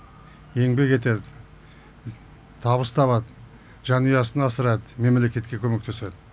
еңбек етеді табыс табады жанұясын асырайды мемлекетке көмектеседі